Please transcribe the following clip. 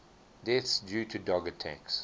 deaths due to dog attacks